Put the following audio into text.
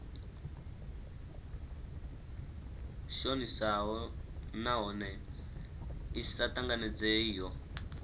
shonisaho nahone i sa tanganedzeiho